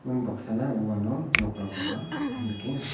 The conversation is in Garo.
unbaksana uano nokrangkoba nikenga.